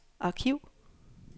arkiv